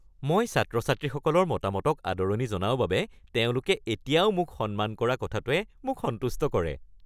মই ছাত্ৰ-ছাত্ৰীসকলৰ মতামতক আদৰণি জনাওঁ বাবে তেওঁলোকে এতিয়াও মোক সন্মান কৰা কথাটোৱে মোক সন্তুষ্ট কৰে।